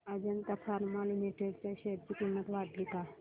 Ajanta pharma limited च्या share ची किंमत वाढली का